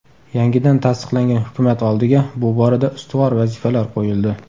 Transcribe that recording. Yangidan tasdiqlangan hukumat oldiga shu borada ustuvor vazifalar qo‘yildi.